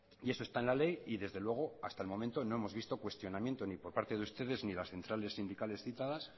y eso está en la ley y desde luego hasta el momento no hemos visto cuestionamiento ni por parte de ustedes ni las centrales sindicales citadas